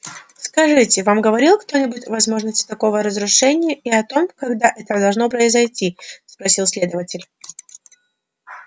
скажите вам говорил кто-нибудь о возможности такого разрушения и о том когда это должно произойти спросил следователь